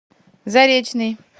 заречный